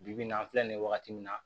Bi bi in na an filɛ nin wagati min na